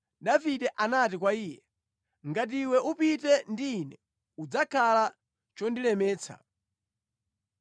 Davide anati kwa iye, “Ngati iwe upite ndi ine, udzakhala chondilemetsa.